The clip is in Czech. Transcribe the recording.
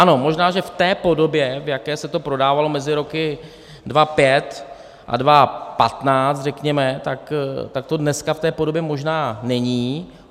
Ano, možná že v té podobě, v jaké se to prodávalo mezi roky 2005 a 2015, řekněme, tak to dneska v té podobě možná není.